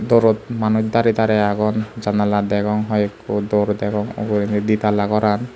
dorot manuj darey darey agon janala degong hoyekko dor degong ugurendi di talla goran.